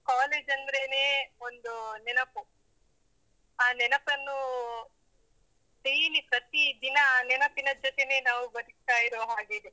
College ಅಂದ್ರೇನೇ ಒಂದು ನೆನಪು. ಆ ನೆನಪನ್ನು daily ಪ್ರತೀ ದಿನ ಆ ನೆನಪಿನ ಜೊತೆನೇ ನಾವು ಬದುಕ್ತಾ ಇರೋ ಹಾಗಿದೆ.